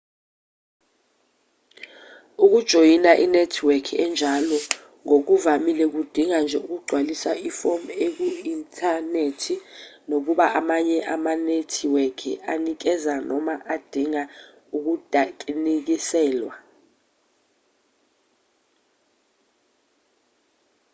ukujoyina inethiweki enjalo ngokuvamile kudinga nje ukugcwalisa ifomu eku-inthanethi nakuba amanye amanethiweki anikeza noma adinga ukudinisekiswa